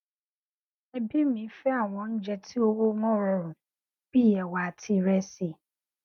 ẹbí mi fẹ àwọn oúnjẹ tí owó wọn rọrùn bí ẹwà àti ìrẹsì